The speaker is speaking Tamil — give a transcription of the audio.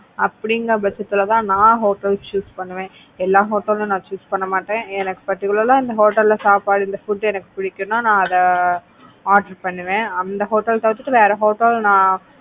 அப்படிங்கற பட்சத்துல தான் நான் hotels choose பண்ணுவ எல்லா hotel லும் நான் choose பண்ண மாட்டேன் எனக்கு particular இந்த hotel ல சாப்பாடு இந்த food எனக்கு புடிக்கும்னா நான் அதை order பண்ணுவேன். அந்த hotel தவிர்த்துட்டு வேற hotel நான்,